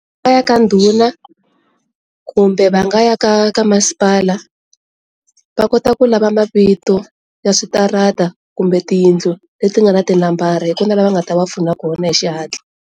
Va ya ka ndhuna kumbe va nga ya ka ka masipala va kota ku lava mavito ya switarata kumbe tiyindlu leti nga na tinambara hi kona lava nga ta va pfunaka kona hi xihatla.